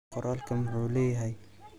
Qoralka muxu leyahy.